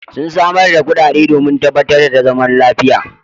Sun samar da kuɗaɗe domin tabbatar da zaman lafiya.